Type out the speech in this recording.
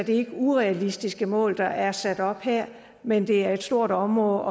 ikke urealistiske mål der er sat op her men det er et stort område